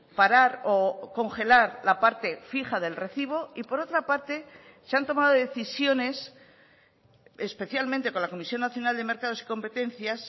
parar o congelar la parte fija del recibo y por otra parte se han tomado decisiones especialmente con la comisión nacional de mercados y competencias